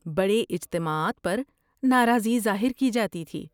بڑے اجتماعات پر ناراضی ظاہر کی جاتی تھی۔